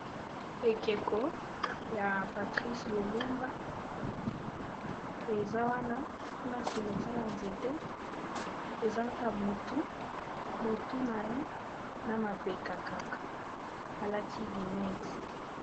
ekeko ya patrice lumumba eza wana na sima eza waa nzete eza kaka motu na ye na mapeka kaka alakili nedi